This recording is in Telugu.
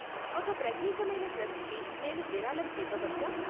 ఒక ప్రత్యేకమైన ట్రస్ట్కి నేను విరాళం ఇవ్వవచ్చా?